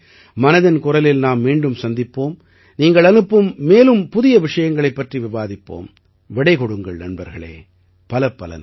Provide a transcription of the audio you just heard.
அடுத்த முறை மனதின் குரலில் நாம் மீண்டும் சந்திப்போம் நீங்கள் அனுப்பும் மேலும் புதிய விஷயங்களைப் பற்றி விவாதிப்போம் விடை கொடுங்கள் நண்பர்களே